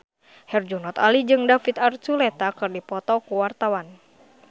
Herjunot Ali jeung David Archuletta keur dipoto ku wartawan